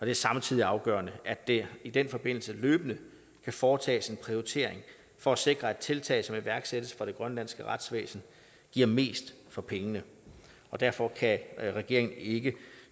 er samtidig afgørende at der i den forbindelse løbende kan foretages en prioritering for at sikre at tiltag som iværksættes for det grønlandske retsvæsen giver mest for pengene og derfor kan regeringen ikke